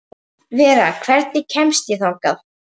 Jú, við töldum það ekki fjarri lagi.